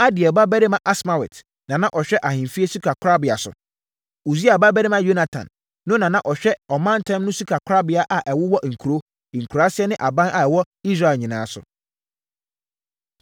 Adiel babarima Asmawet na na ɔhwɛ ahemfie sikakorabea so. Usia babarima Yonatan no na na ɔhwɛ ɔmantam no sikakorabea a ɛwowɔ nkuro, nkuraaseɛ ne aban a ɛwɔ Israel nyinaa so.